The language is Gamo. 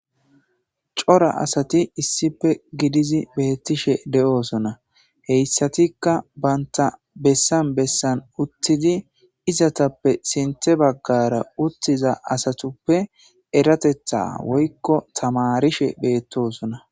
cora asati issife gidizi beettishe de7oosona heyssatikka baynta bessan bessan uttidi izatappe sinte baggara uttiza asatuppe eratetha woykko tamarishe beettosona